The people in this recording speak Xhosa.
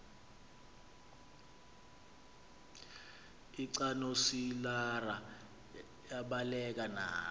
lcanosilarha yabaleka nalo